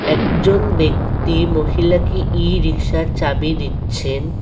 একজন ব্যক্তি মহিলাকে ই রিক্সার চাবি দিচ্ছেন।